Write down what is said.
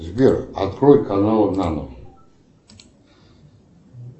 сбер открой канал нано